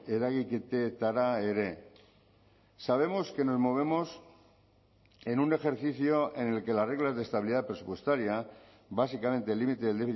eragiketetara ere sabemos que nos movemos en un ejercicio en el que las reglas de estabilidad presupuestaria básicamente el límite del